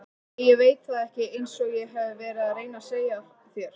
Nei ég veit það ekki einsog ég hef verið að reyna að segja þér.